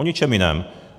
O ničem jiném.